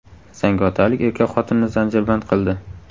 Zangiotalik erkak xotinini zanjirband qildi.